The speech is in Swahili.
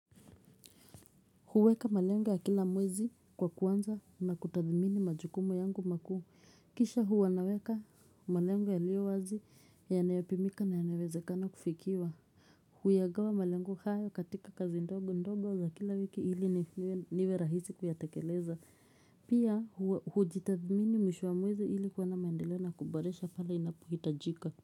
Kuweka malengo ya kila mwezi kwa kuanza na kutathimini majukumu yangu makuu. Kisha huwa naweka malengo yalio wazi yanayopimika na yanawezekana kufikiwa. Huyagawa malengo hayo katika kazi ndogo ndogo za kila wiki ili niwe rahisi kuyatekeleza. Pia hujitathimini mwisho wa mwezi ili kuwa na maendeleo na kuboresha pale inapohitajika.